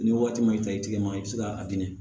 Ni waati ma i ta i tigɛ ma i bɛ se k'a di